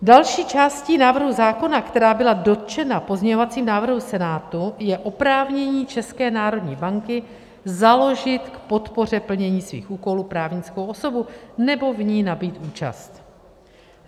Další částí návrhu zákona, která byla dotčena pozměňovacím návrhem Senátu, je oprávnění České národní banky založit k podpoře plnění svých úkolů právnickou osobu nebo v ní nabýt účast.